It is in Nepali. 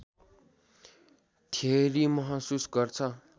थ्योरी महसुस गर्छ